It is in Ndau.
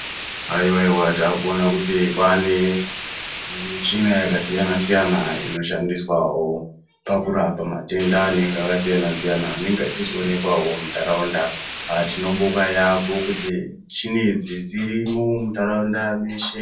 Haiwaiwa takuona kuti kwane zvimuchina yakasiyana siyana inoshandiswawo pakurapa matenda anenge akasiyana siyana anenge achizoonekwawo muntaraunda aaaa tinobonga yambo kuti michini idzi dzirimwo muntaraunda meshe.